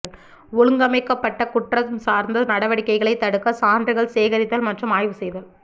ஒழுங்கமைக்கப்பட்ட குற்றம் சார்ந்த நடவடிக்கைகளைத் தடுக்க சான்றுகள் சேகரித்தல் மற்றும் ஆய்வு செய்தல்